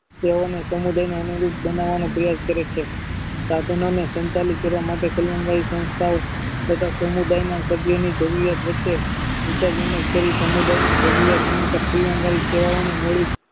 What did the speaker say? તેઓને સમુદાયના અનુરૂપ બનાવાની પ્રયાસ કરે છે સાધનોને સંચાલિત કરવા માટે કલ્યાણકરી સંસ્થાઓ તથા સમુદાય ના સભ્યની વચ્ચે વિચાર વિમાસ કરી સમુદાયની ભવ્ય અને કલ્યાણકારી સેવાઓની મેળવી